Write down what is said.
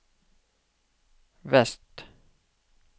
vest